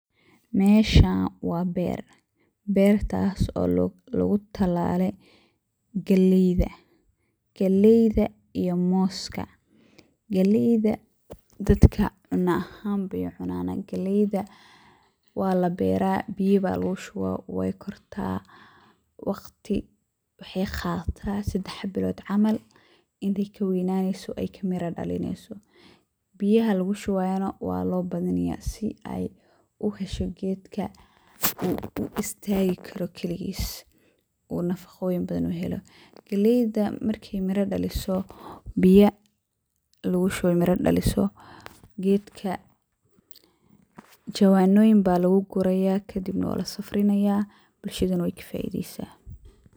Meeshan wa beer, bertas oo lugutalaaley galeyda iyo mooska. Galeyda dadka cuuno ahaan ayey ucunan, walabera biyo aya lugushuba waqti wexey qadata sadex bilod ila ey kaweynato oo kamira dhalineyso biyaha lugushubayana walobadinaya si ey uhesho gedkana uu istagi karo kaligis oo nafaqoyin uheli karo. galeyda markey miro daliso jawanoyin aya luguguraya kadibna walasafrinaya bulshadana wey kafaideysa.